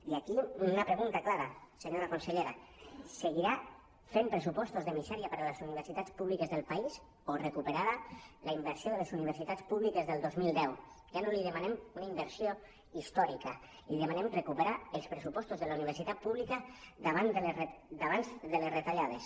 i aquí una pregunta clara senyora consellera seguirà fent pressupostos de misè·ria per a les universitats públiques del país o recuperarà la inversió de les universi·tats públiques del dos mil deu ja no li demanem una inversió històrica li demanem recu·perar els pressupostos de la universitat pública d’abans de les retallades